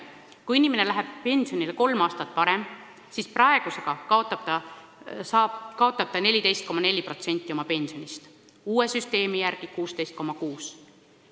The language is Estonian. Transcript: Kui inimene läheb pensionile kolm aastat varem, siis praegu kaotab ta 14,4% oma pensionist, uue süsteemi järgi 16,6%.